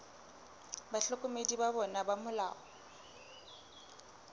bahlokomedi ba bona ba molao